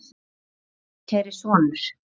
Ástkæri sonur